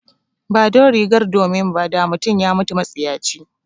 Ba don rigar domin ba, da mutum ya mutu matsiyaci.